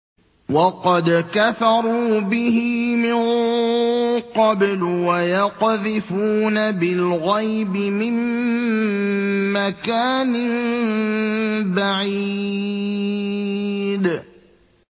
وَقَدْ كَفَرُوا بِهِ مِن قَبْلُ ۖ وَيَقْذِفُونَ بِالْغَيْبِ مِن مَّكَانٍ بَعِيدٍ